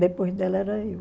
Depois dela era eu.